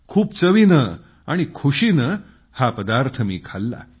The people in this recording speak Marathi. खूप चवीनं आणि खुशीनं हा पदार्थ मी खाल्ला